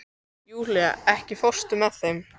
Júlíana, ekki fórstu með þeim?